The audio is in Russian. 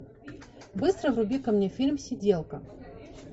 быстро вруби ка мне фильм сиделка